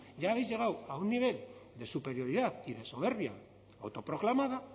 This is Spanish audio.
ya habéis llegado a un nivel de superioridad y de soberbia autoproclamada